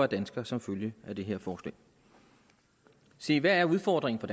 dansker som følge af det her forslag se hvad er udfordringen så